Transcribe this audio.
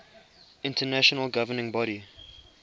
international governing body